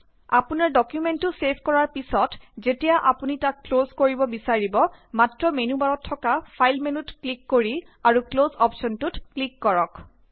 আপোনাৰ ডকুমেন্টতো ছেভ কৰাৰ পিছত যেতিয়া আপুনি তাক ক্লজ কৰিব বিছাৰিব মাত্ৰ মেনু বাৰত থকা ফাইল মেনুত ক্লিক কৰি আৰু ক্লজ অপশ্বনটোত ক্লিক কৰক